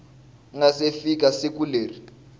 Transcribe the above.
nga si fika siku leri